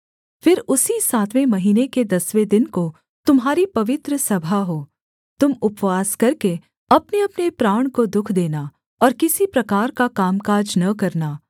फिर उसी सातवें महीने के दसवें दिन को तुम्हारी पवित्र सभा हो तुम उपवास करके अपनेअपने प्राण को दुःख देना और किसी प्रकार का कामकाज न करना